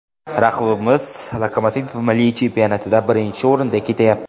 Raqibimiz ‘Lokomotiv’ milliy chempionatida birinchi o‘rinda ketyapti.